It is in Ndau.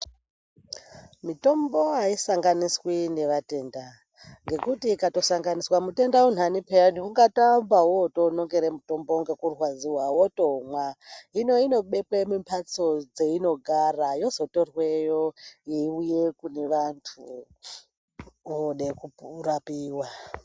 Mitombo aisanganiswi nevatenda, ngekuti ikatosanganiswa mutenda aneuntani pheyani ungatoamba wonongere mutombo ngekurwadziwa wotomwa. Hino inobekwe mumhatso dzeinogara, yozotorweyo yeiuye kune vantu, vode kurapiwa.